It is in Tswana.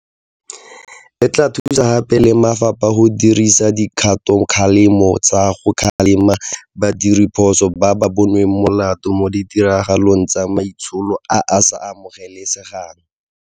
E tla thusa gape le mafapha go dirisa dikgatokgalemo tsa go kgalema badiredipuso ba ba bonweng molato mo ditiragalong tsa maitsholo a a sa amogelesegang.